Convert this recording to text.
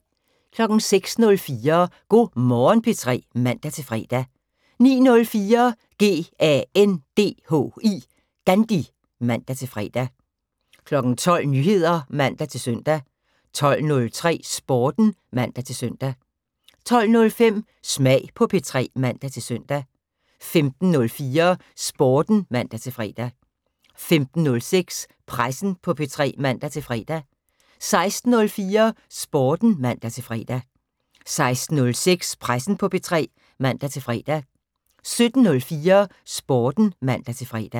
06:04: Go' Morgen P3 (man-fre) 09:04: GANDHI (man-fre) 12:00: Nyheder (man-søn) 12:03: Sporten (man-søn) 12:05: Smag på P3 (man-søn) 15:04: Sporten (man-fre) 15:06: Pressen på P3 (man-fre) 16:04: Sporten (man-fre) 16:06: Pressen på P3 (man-fre) 17:04: Sporten (man-fre)